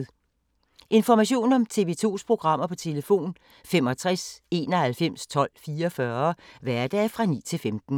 Information om TV 2's programmer: 65 91 12 44, hverdage 9-15.